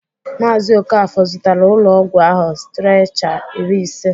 Maazị Okafor zụtara ụlọọgwụ ahụ sitrechar iri ise.